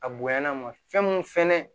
A bonyana ma fɛn mun fɛnɛ